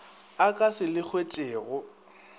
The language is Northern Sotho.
a ka se le hwetšego